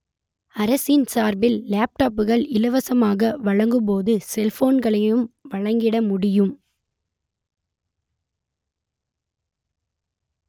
அரசின் சார்பில் லேப் டாப்புகள் இலவசமாக வழங்கும் போது செல்போன்களையும் வழங்கிட முடியும்